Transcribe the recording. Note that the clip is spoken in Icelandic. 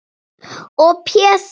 Og Pési